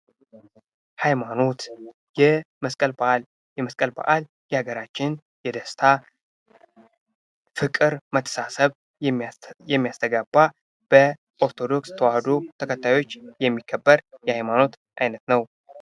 ሀይማኖት የመስቀል በዓል የአገራችን የደስታ ፣ ፍቅር ፣ መተሳሰብ የሚያስተጋባው በ ኦርቶዶክስ ተዋህዶ ተከታዮች የሚቀበር የሃይማኖት ዓይነት ነው።